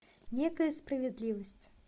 некая справедливость